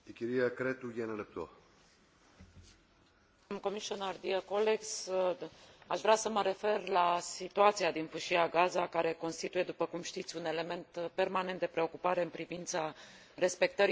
Aș vrea să mă refer la situația din Fâșia Gaza care constituie, după cum știți, un element permanent de preocupare în privința respectării drepturilor omului, mai ales după agravarea situațiilor în urma confruntărilor din iarna trecută.